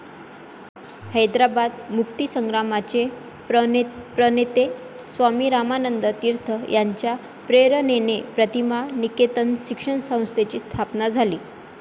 हैदराबाद मुक्तिसंग्रामाचे प्रणेते स्वामी रामानंद तीर्थ यांच्या प्रेरणेने प्रतिभा निकेतन शिक्षण संस्थेची स्थापना झाली.